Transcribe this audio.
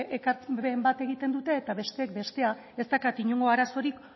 bat egiten dute eta besteek bestea ez daukat inongo arazorik